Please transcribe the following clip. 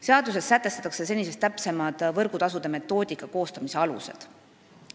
Seaduses sätestatakse senisest täpsemad võrgutasude arvestamise metoodika alused.